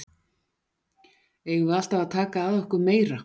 Eigum við alltaf að taka að okkur meira?